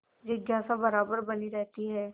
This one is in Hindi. जिज्ञासा बराबर बनी रहती है